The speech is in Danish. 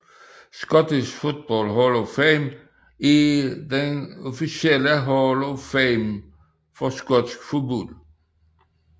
Scottish Football Hall of Fame er den officielle hall of fame for skotsk fodbold